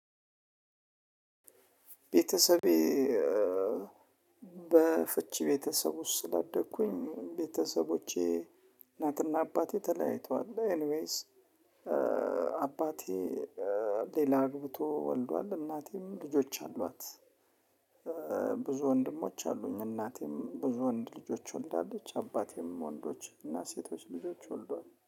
ቤተሰቤ በፍቺ ቤተሰብ ውስጥ ስላደግኩኝ ቤተሰቦቼ እናትና አባቴ ተለያይተዋልና። ኤኒዌይስ አባቴ ሌላ አግብቶ ወልዷል። እናቴም ልጆች አሏት። ብዙ ወንድሞች አሉኝ እናቴም ብዙ ወንድ ልጆች ወልዳለች። አባቴም ወንዶች እና ሴቶች ልጆች ወልዷል